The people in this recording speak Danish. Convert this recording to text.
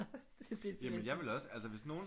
Jamen jeg ville også altså hvis nogen